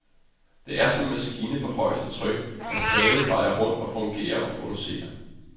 Det er som en maskine på højeste tryk, der stadig drejer rundt og fungerer og producerer.